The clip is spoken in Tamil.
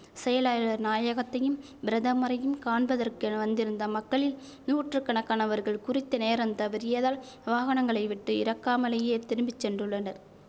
செயலாளர் நாயகத்தையும் பிரதமரையும் காண்பதற்கென வந்திருந்த மக்களில் நூற்று கணக்கானவர்கள் குறித்த நேரம் தவறியதால் வாகனங்களை விட்டு இறக்காமலேயே திரும்பி சென்றுள்ளனர்